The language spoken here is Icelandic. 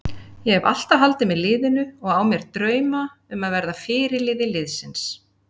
Ég hef alltaf haldið með liðinu og á mér drauma um að verða fyrirliði liðsins.